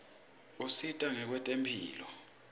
usita kwetemphilo